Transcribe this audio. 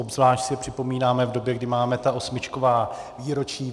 Obzvlášť si je připomínáme v době, kdy máme ta osmičková výročí.